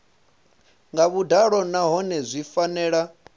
nga vhuḓalo nahone zwi fanela